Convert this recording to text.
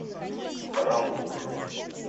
рампур